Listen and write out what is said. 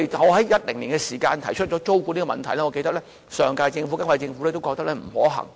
我在2010年提出租管的問題，我記得上屆和現屆政府都覺得不可行。